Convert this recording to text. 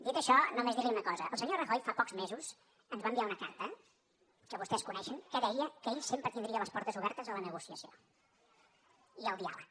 dit això només dir li una cosa el senyor rajoy fa pocs mesos ens va enviar una carta que vostès coneixen que deia que ell sempre tindria les portes obertes a la negociació i al diàleg